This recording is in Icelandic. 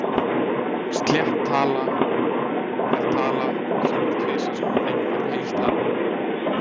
Slétt tala er tala sem er tvisvar sinnum einhver heil tala.